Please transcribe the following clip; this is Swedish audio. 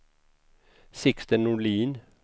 Sixten Norlin